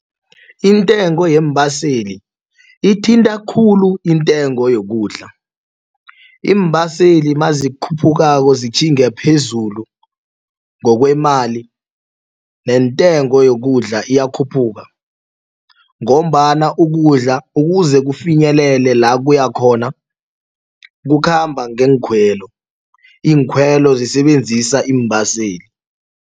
Intengo yeembaseli ithinta khulu intengo yokudla iimbaseli mazikhuphukako sitjhinga phezulu ngokwemali nentengo yokudla iyakhuphuka ngombana ukudla ukuze kufinyelele la kuya khona kukhamba ngeenkhwelo iinkhwelo zisebenzisa iimbaseli.